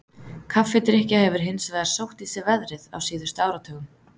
Kaffidrykkja hefur hins vegar sótt í sig veðrið á síðustu áratugum.